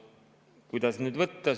Kuidas nüüd võtta?